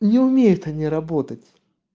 не умеют они работать